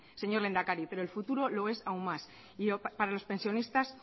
señor lehendakari pero el futuro lo es aún más y para los pensionistas